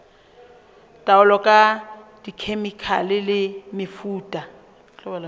taolo ka dikhemikhale le mefuta